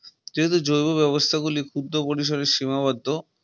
যেহেতু জৈব ব্যবস্থা গুলি ক্ষুদ্র পরিসরে সীমাবদ্ধ